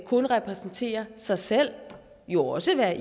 kun repræsentere sig selv og jo også være